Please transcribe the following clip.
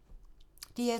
DR2